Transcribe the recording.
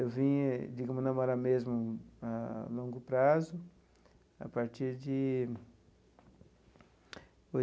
Eu vim, digamos, namorar mesmo a longo prazo, a partir de